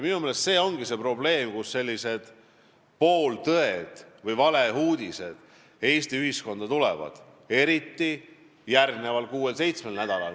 Minu meelest see ongi probleem, kui sellised pooltõed või valeuudised Eesti ühiskonda tulevad, seda eriti järgmisel kuuel või seitsmel nädalal.